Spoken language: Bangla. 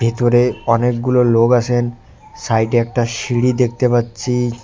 ভেতরে অনেকগুলো লোক আছেন সাইডে একটা সিঁড়ি দেখতে পাচ্ছি।